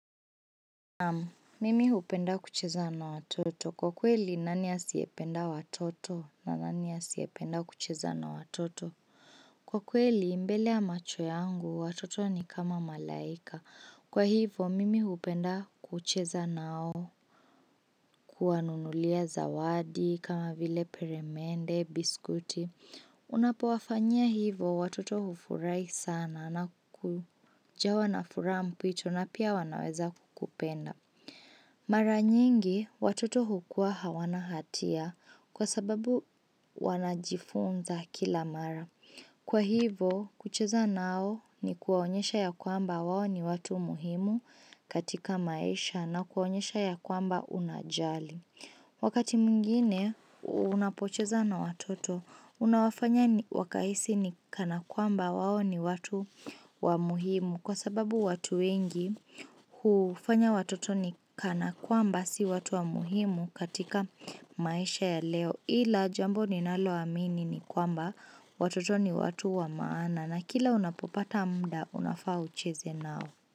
Naam, mimi hupenda kucheza na watoto. Kwa kweli, nani asiyependa watoto? Na nani asiyependa kucheza na watoto? Kwa kweli, mbele ya macho yangu, watoto ni kama malaika. Kwa hivo, mimi hupenda kucheza nao. Kuwanunulia zawadi, kama vile peremende, biskuti. Unapowafanyia hivo, watoto hufurahi sana na kujawa nafuraha mpwito na pia wanaweza kukupenda. Mara nyingi, watoto hukua hawana hatia kwa sababu wanajifunza kila mara. Kwa hivo, kucheza nao ni kuwaonyesha ya kwamba wao ni watu muhimu katika maisha na kuwaonyesha ya kwamba unajali. Wakati mwingine unapocheza na watoto unawafanya wakahisi ni kana kwamba wao ni watu wa muhimu kwa sababu watu wengi hufanya watoto ni kana kwamba si watu wa muhimu katika maisha ya leo ila jambo ni nalo amini ni kwamba watoto ni watu wa maana na kila unapopata muda unafaa hucheze nao.